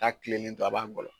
N'a tilenen don, a b'a ngɔlɔ.